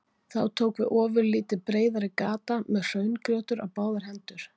Þá tók við ofurlítið breiðari gata með hraungjótur á báðar hendur.